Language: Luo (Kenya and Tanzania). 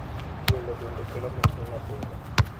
Welo bende kelo mich ne nyathino.